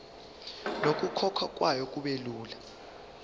nokukhokhwa kwayo kubelula